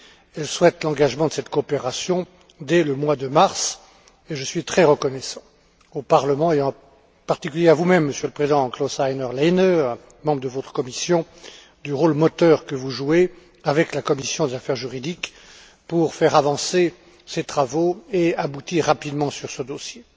Elle souhaite l'engagement de cette coopération dès le mois de mars et je suis très reconnaissant au Parlement, et en particulier à vous même, Monsieur le Président Klaus Heiner Lehne, et aux membres de votre commission, du rôle moteur que vous jouez, avec la commission des affaires juridiques, pour faire avancer ces travaux et aboutir rapidement sur ce dossier.